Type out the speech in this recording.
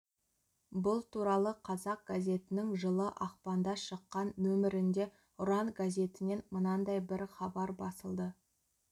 бұл туралы қазақ газетінің жылы ақпанда шыққан нөмірінде ұран газетінен мынандай бір хабар басылды